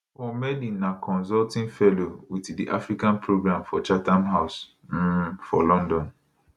paul melly na consulting fellow wit di africa programme for chatham house um for london